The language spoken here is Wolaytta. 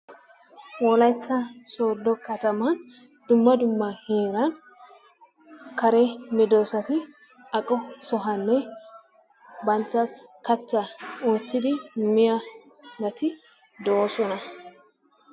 Wolaytta Soodo kataman dumma dumma heeran kare medoosati aqqo sohuwanne bantta kattaa wottidi miyabati doosona.